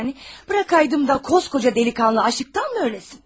Buraxaydım da, kocaman cavan oğlan aclıqdanmı ölsün?